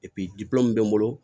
min bɛ n bolo